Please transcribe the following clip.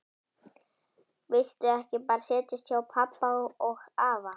Viltu ekki bara setjast hjá pabba og afa?